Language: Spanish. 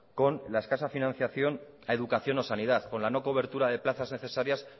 son la escasa financiación a educación o sanidad con la no cobertura de plazas necesarias